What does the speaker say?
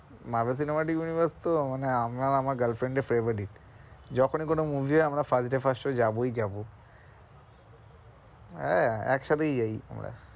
মার্গ cinema, tech universe তো মানে আমি আর আমার girl friend এর favourite যখনি কোনো movie হয় আমরা first day first show তে যাবোই যাবো আহ একসাথেই যাই আমরা।